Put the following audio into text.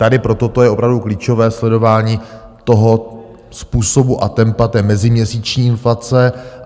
Tady pro toto je opravdu klíčové sledování toho způsobu a tempa té meziměsíční inflace.